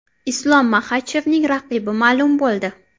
Islom Maxachevning raqibi ma’lum bo‘ldi.